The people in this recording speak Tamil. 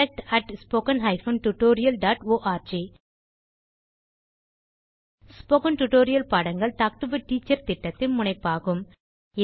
contact at spoken hyphen tutorial dot org spoken tutorial பாடங்கள் டாக் டு எ டீச்சர் திட்டத்தின் முனைப்பாகும்